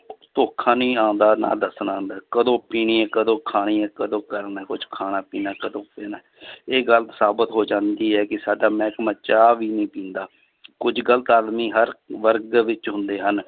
ਧੋਖਾ ਨਹੀਂ ਆਉਂਦਾ ਨਾ ਦੱਸਣਾ ਆਉਂਦਾ ਹੈ ਕਦੋਂ ਪੀਣੀ ਹੈ ਕਦੋਂ ਖਾਣੀ ਹੈ ਕਦੋਂ ਕਰਨਾ ਹੈ ਕੁਛ ਖਾਣਾ ਪੀਣਾ ਕਦੋਂ ਪੀਣਾ ਹੈ ਇਹ ਗੱਲ ਸਾਬਤ ਹੋ ਜਾਂਦੀ ਹੈ ਕਿ ਸਾਡਾ ਮਿਹਕਮਾ ਚਾਹ ਵੀ ਨੀ ਪੀਂਦਾ ਕੁੱਝ ਗ਼ਲਤ ਆਦਮੀ ਹਰ ਵਰਗ ਦੇ ਵਿੱਚ ਹੁੰਦੇ ਹਨ,